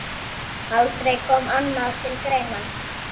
Aldrei kom annað til greina.